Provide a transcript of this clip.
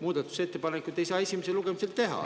Muudatusettepanekuid ei saa esimesel lugemisel teha.